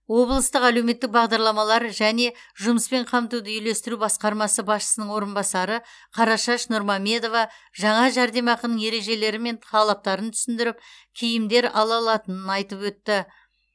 облыстық әлеуметтік бағдарламалар және жұмыспен қамтуды үйлестіру басқармасы басшысының орынбасары қарашаш нұрмамедова жаңа жәрдемақының ережелері мен талаптарын түсіндіріп киімдер ала алатынын айтып өтті